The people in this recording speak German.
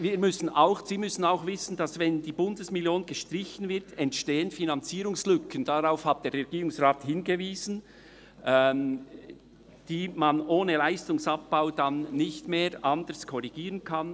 Sie müssen auch wissen, dass Finanzierungslücken entstehen, wenn die Bundesmillion gestrichen wird, die man ohne Leistungsabbau nicht korrigieren kann.